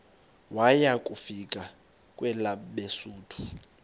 waya kufika kwelabesuthu